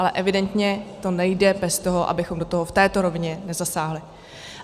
Ale evidentně to nejde bez toho, abychom do toho v této rovině nesáhli.